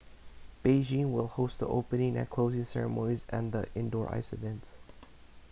beijing will host the opening and closing ceremonies and the indoor ice events